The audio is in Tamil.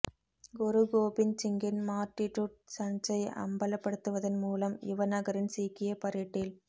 குரு கோபிந்த் சிங்கின் மார்ட்டிடுட் சன்ஸ்ஸை அம்பலப்படுத்துவதன் மூலம் யுவ நகரின் சீக்கியப் பரேட்டில்